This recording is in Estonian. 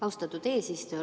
Austatud eesistuja!